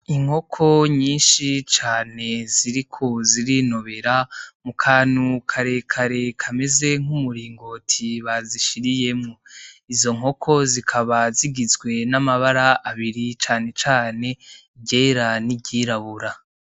Inkoko nyishi cane ziriko zirinobera mukantu karekare kameze nk’umuringoti bazishiriyemwo, izo nkoko zikaba zigizwe n' amabara abiri canecane iryera n' iryirabura.